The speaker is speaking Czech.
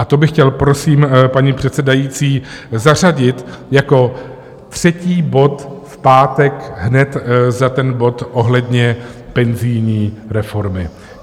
A to bych chtěl, prosím, paní předsedající, zařadit jako třetí bod v pátek, hned za ten bod ohledně penzijní reformy.